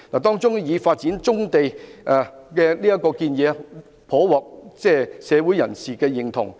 當中發展棕地的建議，甚獲社會人士認同。